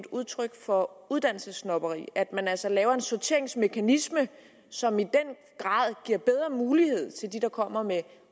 udtryk for uddannelsessnobberi at man altså laver en sorteringsmekanisme som i den grad giver bedre muligheder til dem der kommer med en